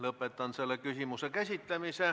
Lõpetan selle küsimuse käsitlemise.